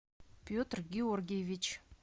петр георгиевич